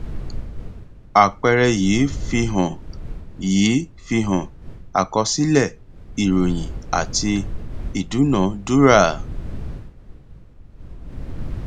àpẹẹrẹ yìí fihan yìí fihan àkọsílẹ ìròyìn àti ìdúnadúrà